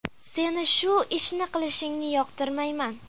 Seni shu ishni qilishingni yoqtirmayman.